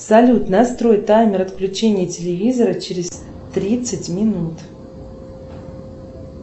салют настрой таймер отключения телевизора через тридцать минут